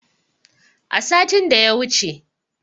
A satin da ya wuce.